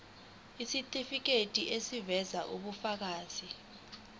isitifiketi eziveza ubufakazi